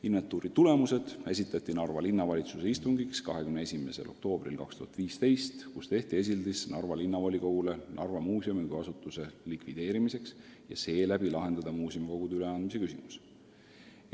Inventuuri tulemused esitati Narva Linnavalitsuse istungiks 21. oktoobril 2015, kus Narva Linnavolikogule tehti esildis Narva Muuseumi kui asutuse likvideerimiseks ja sel moel muuseumikogu üleandmise küsimuse lahendamiseks.